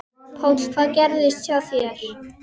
Páll: Hvað gerðist hjá þér?